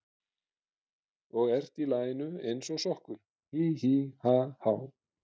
Og ert í laginu eins og sokkur, hí, hí, ha, há.